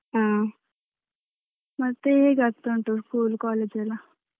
ಹ ಮತ್ತೆ ಹೇಗಾಗ್ತ ಉಂಟು school college ಯೆಲ್ಲಾ?